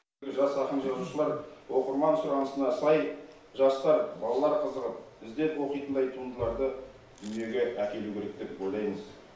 жас ақын жазушылар оқырман сұранысына сай жастар балалар қызығып іздеп оқитындай туындыларды дүниеге әкелу керек деп ойлаймыз